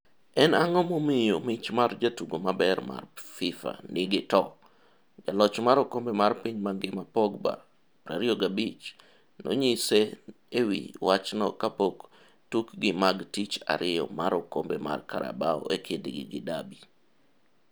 En ang'o momiyo mich mar jatugo maber marFifa nigi to. Jaloch mar okombe mar piny mangima Pogba 25 nonyise e wi wachno kapok tukgi mag tich ariyo mar okombe mar Carabao e kindgi gi Derby.